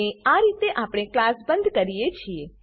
અને આ રીતે આપણે ક્લાસ બંધ કરીએ છીએ